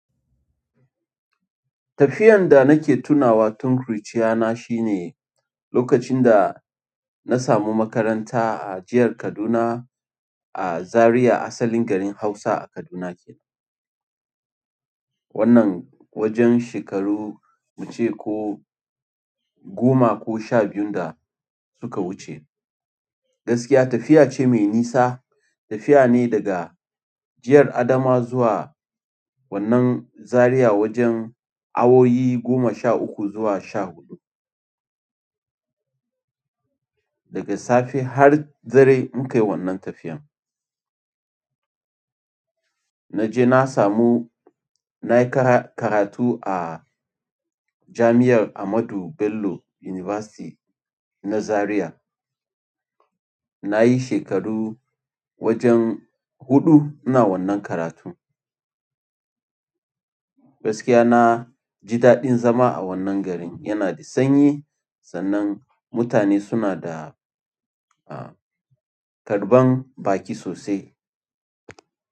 Tafiyan da nake tunawa tun ƙuruciya na shine. A lokacin da na samu makaranta a jihar Kaduna a Zaria asalin garin Hausa Kaduna kenan. Wannan wajen shekaru ince ko goma ko sha biyun da suka wuce. Gaskiya tafiya ce mai nisa, tafiya ne daga jiyar Adamawa zuwa wannan Zaria wajen awoyi goma sha uku zuwa sha huɗu. Daga safe har dare mu kai wannan tafiyan. Naje na samu nayi karatu a jami'ar Ahmadu Bello University na Zaria na yi shekaru wajen huɗu ina wannan karatu. Gaskiya na, ji daɗin zama a wannan garin yana da sanyi sannan mutane suna da, a, karɓan baki sosai.